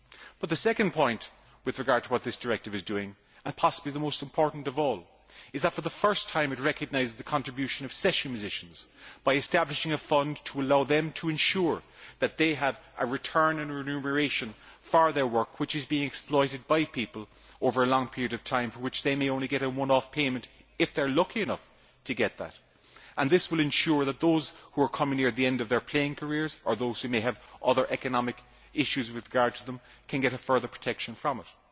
But the second point with regard to what this directive is doing and possibly the most important of all is that for the first time it recognises the contribution of session musicians by establishing a fund to allow them to ensure that they have a return and remuneration for their work which has been exploited by people over a long period of time for which they may only get a one off payment if they are lucky. This will ensure that those who are near the end of their playing careers or those who may have other economic issues with regard to them can get further protection from it.